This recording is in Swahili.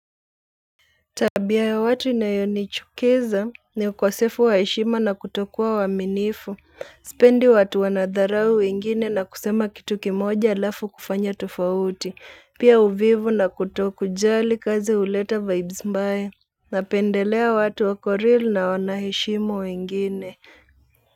Tabia ya watu inayonichukiza ni ukosefu wa heshima na kutokuwa waminifu, sipendi watu wanadharau wengine na kusema kitu kimoja alafu kufanya tofauti, pia uvivu na kutokujali kazi uleta vibes mbaya, napendelea watu wako real na wanaheshimu wengine.